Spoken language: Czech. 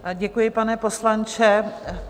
Děkuji, pane poslanče.